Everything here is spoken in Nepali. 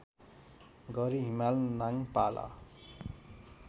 गरी हिमाल नाङपाला